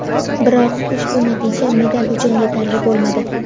Biroq ushbu natija medal uchun yetarli bo‘lmadi.